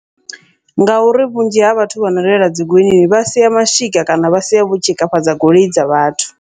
Ngauri vhunzhi ha vhathu vhano reila dzi goloinini, vha sia mashika kana vha sia vho tshikafhadza goloi dza vhathu.